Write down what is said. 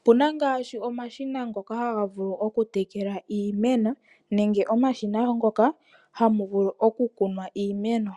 Opu na ngaashi omashina ngoka haga vulu oku tekela iimeno, nenge omashina ngoka hamu vulu oku kunwa iimeno.